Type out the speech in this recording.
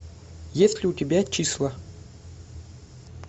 есть ли у тебя числа